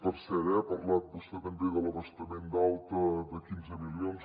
per cert eh ha parlat vostè també de l’abastament d’alta de quinze milions